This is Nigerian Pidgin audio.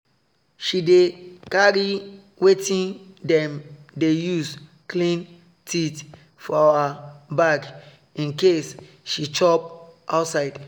she dey carry wetin dem dey use clean teeth for her bag in case she chop outside